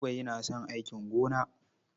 Buba yana son aikin gona.